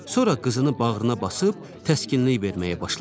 Sonra qızını bağrına basıb təskinlik verməyə başladı.